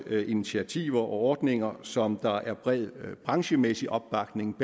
initiativer og ordninger som der er bred branchemæssig opbakning